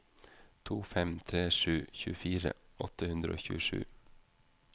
to fem tre sju tjuefire åtte hundre og tjuesju